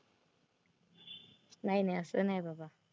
नाही नाही असं नाही बाबा.